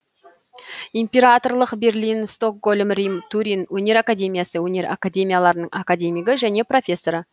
императорлық берлин стокгольм рим турин өнер академиясы өнер академияларының академигі және профессоры